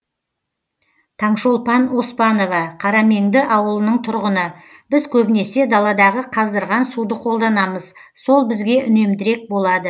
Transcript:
таңшолпан оспанова қарамеңді ауылының тұрғыны біз көбінесе даладағы қаздырған суды қолданамыз сол бізге үнемдірек болады